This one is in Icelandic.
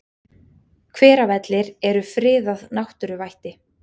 Hveravellir eru friðað náttúruvætti.